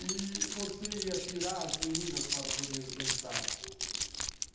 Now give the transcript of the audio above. E você ia tirar as meninas para poder dançar.